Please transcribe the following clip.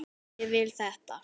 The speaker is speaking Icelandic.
Ég vil þetta.